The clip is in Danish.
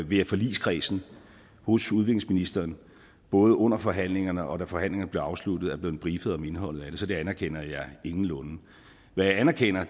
ved at forligskredsen hos udviklingsministeren både under forhandlingerne og da forhandlingerne blev afsluttet blev briefet om indholdet af det så det anerkender jeg ingenlunde hvad jeg anerkender